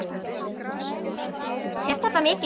Sést þetta mikið?